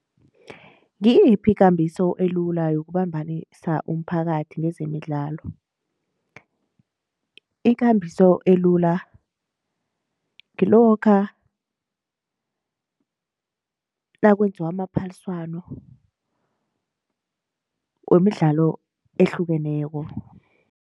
Ngiyiphi ikambiso elula yokumbanisa umphakathi kwezemidlalo ikambiso elula ngilokha nakwenziwa amaphaliswano wemidlalo ehlukeneko.